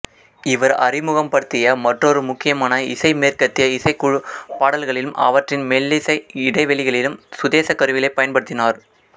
இவர் அறிமுகப்படுத்திய மற்றொரு முக்கியமான இசை மேற்கத்திய இசைக்குழு பாடல்களிலும் அவற்றின் மெல்லிசை இடைவெளிகளிலும் சுதேச கருவிகளைப் பயன்படுத்தினார்